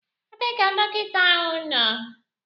Ebee ka dọkịta ahu nọ?